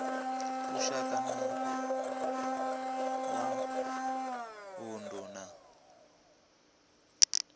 lushaka na wa vundu na